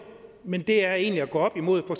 men det er egentlig at gå op imod for